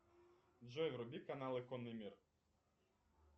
джой вруби каналы конный мир